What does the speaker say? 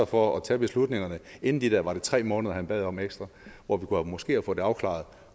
for at tage beslutningerne inden de der var det tre måneder han bad om ekstra hvor vi måske kunne afklaret